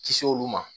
Kisi olu ma